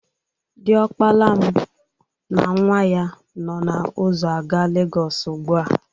Diọkpala m na nwa ya nọ n'ụzọ aga Legọsụ ugbua.